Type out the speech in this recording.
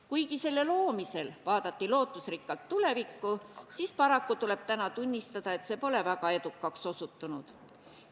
Kuigi selle loomisel vaadati lootusrikkalt tulevikku, tuleb täna tunnistada, et see pole väga edukaks osutunud.